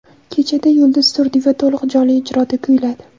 Kechada Yulduz Turdiyeva to‘liq jonli ijroda kuyladi.